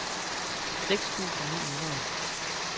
seks tusind ni hundrede